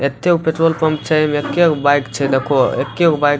एते गो के पेट्रोल पंप छै एमे एके गो बाइक छै देखो एके गो बाइक --